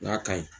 N k'a ka ɲi